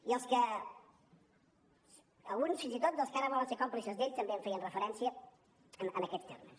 i alguns fins i tot dels que ara volen ser còmplices d’ell també hi feien referència en aquests termes